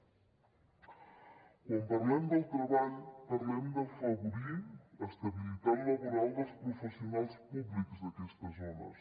quan parlem del treball parlem d’afavorir l’estabilitat laboral dels professionals públics d’aquestes zones